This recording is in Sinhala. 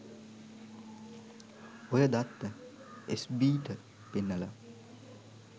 ඔය දත්ත එස් බී ට පෙන්නලා